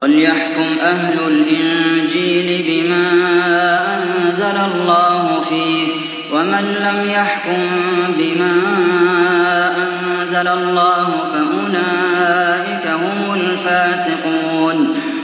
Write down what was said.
وَلْيَحْكُمْ أَهْلُ الْإِنجِيلِ بِمَا أَنزَلَ اللَّهُ فِيهِ ۚ وَمَن لَّمْ يَحْكُم بِمَا أَنزَلَ اللَّهُ فَأُولَٰئِكَ هُمُ الْفَاسِقُونَ